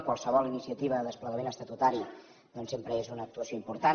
qualsevol iniciativa de desplegament estatutari doncs sempre és una actuació important